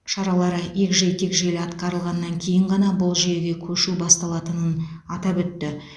шаралары егжей тегжейлі атқарылғаннан кейін ғана бұл жүйеге көшу басталатынын атап өтті